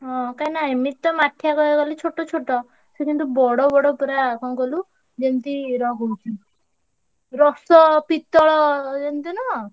ହଁ କାହିଁକିନା ଏମି~ ତିତ~ ମାଠିଆ କହିଆକୁ ଗଲେ ଛୋଟ ଛୋଟ। ସେ କିନ୍ତୁ ବଡ ବଡ ପୁରା କଣ କହିଲୁ ଯେମତି କରୁ~ ଛନ୍ତି। ରସ, ~ପି ~ତ୍ତଳ ଯେମିତି ନୁହଁ?